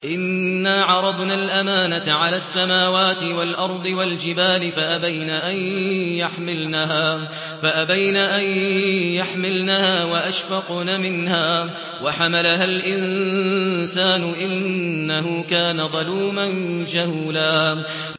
إِنَّا عَرَضْنَا الْأَمَانَةَ عَلَى السَّمَاوَاتِ وَالْأَرْضِ وَالْجِبَالِ فَأَبَيْنَ أَن يَحْمِلْنَهَا وَأَشْفَقْنَ مِنْهَا وَحَمَلَهَا الْإِنسَانُ ۖ إِنَّهُ كَانَ ظَلُومًا جَهُولًا